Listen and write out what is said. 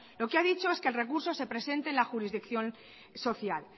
lo que ha dicho es que el recurso se presente en la jurisdicción social